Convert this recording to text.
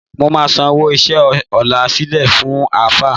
Mo máa sanwó iṣẹ́ ọ̀la sílẹ̀ fún Àáfáà